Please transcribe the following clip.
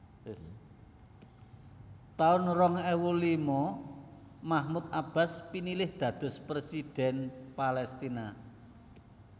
taun rong ewu lima Mahmud Abbas pinilih dados Présidhèn Paléstina